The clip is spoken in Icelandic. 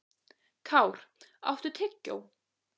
Kár, áttu tyggjó?